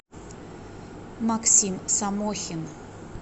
максим самохин